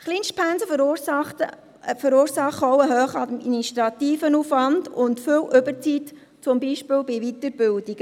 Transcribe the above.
Kleinstpensen verursachen auch einen hohen administrativen Aufwand und viel Überzeit, zum Beispiel bei Weiterbildungen.